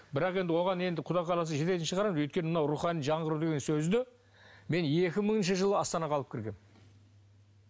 бірақ оған енді құдай қаласа жететін шығармыз өйткені мынау рухани жаңғыру деген сөзді мен екі мыңыншы жылы астанаға алып кіргенмін